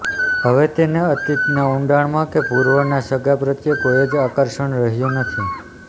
હવે તેને અતીતના ઊંડાણમાં કે પૂર્વનાં સગાં પ્રત્યે કોઈ જ આકર્ષણ રહ્યું નથી